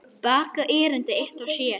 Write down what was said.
Baga erindi eitt og sér.